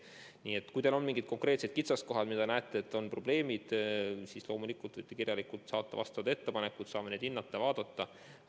Nii et kui on mingid konkreetsed kitsaskohad, mida te probleemiks peate, siis loomulikult võite kirjalikult saata oma ettepanekud, me saame neid hinnata, arutada.